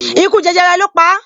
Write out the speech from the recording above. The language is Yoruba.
Ikú jẹjẹrẹ lo pa